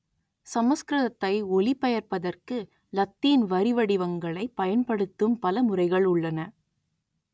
சமஸ்கிருதத்தை ஒலிபெயர்ப்பதற்கு இலத்தீன் வரிவடிவங்களைப் பயன்படுத்தும் பல முறைகள் உள்ளன